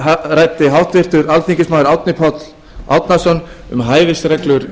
hér ræddi áðan háttvirtur þingmaður árni páll árnason um hæfisreglur